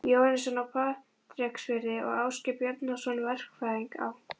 Jóhannesson á Patreksfirði og Ásgeir Bjarnason, verkfræðing á